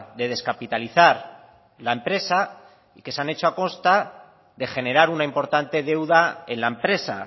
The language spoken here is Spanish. de descapitalizar la empresa y que se han hecho a costa de generar una importante deuda en la empresa